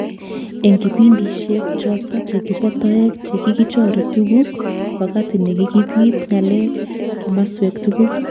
Eng kipindishek chotok chekipo toek chekikichoree tukuk, wakati nekikapit ng'aleek kimaswek tugul